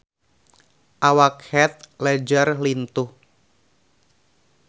Awak Heath Ledger lintuh